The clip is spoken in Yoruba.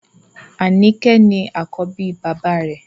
Anike ni àkọ́bí bàbá rẹ̀